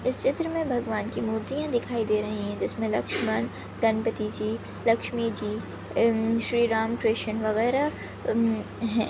इस चित्र मे भगवान की मूर्तिया दिखाई दे रही है जिसमे लक्ष्मण गणपतीजी लक्ष्मीजी हम्म श्रीराम कृष्ण वगैरा हम्म है।